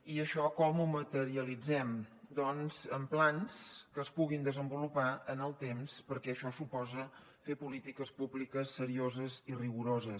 i això com ho materialitzem doncs amb plans que es puguin desenvolupar en el temps perquè això suposa fer polítiques públiques serioses i rigoroses